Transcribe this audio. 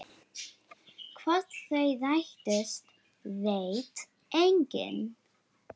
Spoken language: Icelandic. Hvort þau rættust veit enginn.